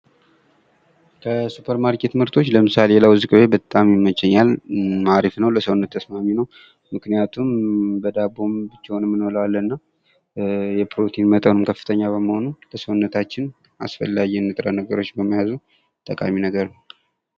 ከሱፐር ማርኬት ምርቶች ለምሳሌ የለውዝ በጣም ይመቸኛል። አሪፍ ነውና ለሰውነት ተስማሚ ነው። ምክንያቱም በዳቦም ብቻውንም እኔ እንበላዋለን እና የፕሮቲን መጠኑ ከፍተኛ በመሆኑ ለሰውነታችን አስፈላጊ ንጥረ ነገሮች በመያዙ ጠቃሚ ነገር ነው።